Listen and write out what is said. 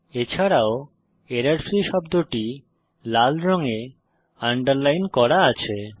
এছাড়াও এররফ্রি শব্দটি লাল রঙে আন্ডারলাইন করা আছে